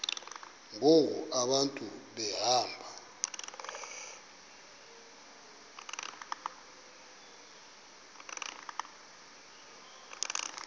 ngoku abantu behamba